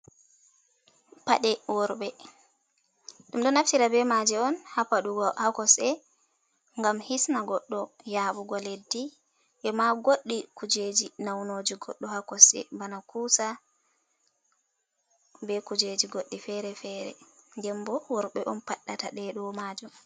Paɗe worɓe, ɗum ɗo naftira be maaje on haa paɗugo haa kosɗe, ngam hisna goɗɗo yaaɓugo leddi, ema goɗɗi kuujeji naunooji goɗɗo haa kosɗe, bana ƙuusa be kujeji goɗɗi fere-fere. Nden bo worɓe on paɗɗata ɗe ɗo majum.